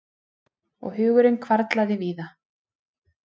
Og hugurinn hvarflaði víða.